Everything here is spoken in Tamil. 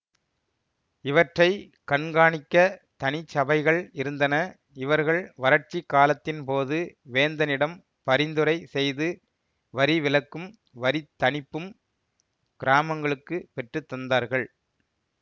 இவற்றை கண்கானிக்கத் தனிச்சபைகள் இருந்தன இவர்கள் வறட்சிக் காலத்தின் போது வேந்தனிடம் பரிந்துரை செய்து வரிவிலக்கும் வரித்தணிப்பும் கிராமங்களுக்குப் பெற்றுத்தந்தார்கள்